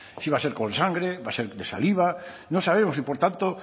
si va a ser con sangre si va a ser de saliva no sabemos y por tanto